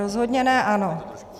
Rozhodně ne ANO.